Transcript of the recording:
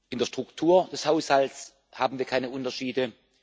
In der Struktur des Haushalts haben wir keine Unterschiede.